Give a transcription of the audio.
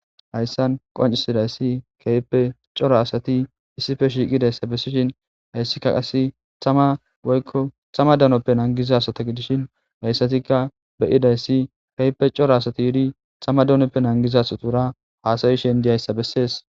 hayssan qoncisidayssi kehipe cora asati issife shiiqidayssa bessishin hayssikka qasse tama woykko thama danoppe nangizasata gidishin hayssatikka beyidayssi keyipe coro asati yidi thama donoppe nangizasatuura haasayishen diyayssa bessees